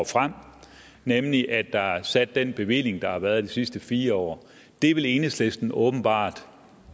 frem nemlig at der er afsat den bevilling der har været de sidste fire år vil enhedslisten åbenbart